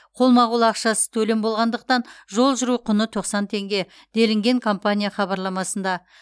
қолма қол ақшасыз төлем болғандықтан жол жүру құны тоқсан теңге делінген компания хабарламасында